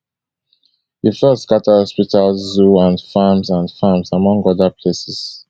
di floods scata hospitals zoos and farms and farms among oda places